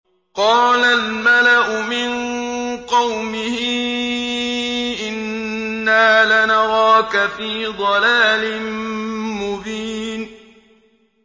قَالَ الْمَلَأُ مِن قَوْمِهِ إِنَّا لَنَرَاكَ فِي ضَلَالٍ مُّبِينٍ